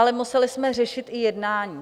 Ale museli jsme řešit i jednání.